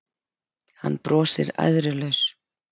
Hann brosir æðrulaus.